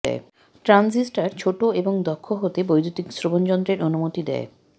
transistor ছোট এবং দক্ষ হতে বৈদ্যুতিক শ্রবণযন্ত্রের অনুমতি দেয়